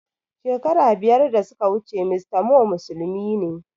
Shekaru biyar da suka wuce mr Moh musulmi ne